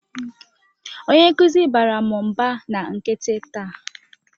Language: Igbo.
Onye nkuzi baara m mba na nkịtị taa.